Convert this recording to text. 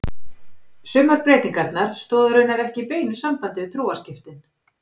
Sumar breytingarnar stóðu raunar ekki í beinu sambandi við trúarskiptin.